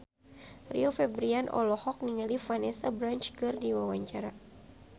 Rio Febrian olohok ningali Vanessa Branch keur diwawancara